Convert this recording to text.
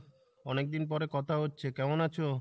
অনিক দিন পরে কথা হচ্ছে কেমন আছো ?